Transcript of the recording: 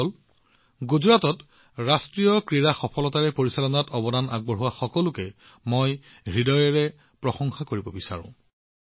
বন্ধুসকল গুজৰাটত অনুষ্ঠিত ৰাষ্ট্ৰীয় ক্ৰীড়াৰ সফল সংগঠনত অৱদান আগবঢ়োৱা সকলো লোকৰ প্ৰতি মই আন্তৰিকতাৰে প্ৰশংসা কৰিব বিচাৰো